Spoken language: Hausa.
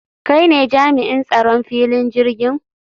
Kai ne jami'in tsaron filin jirgin?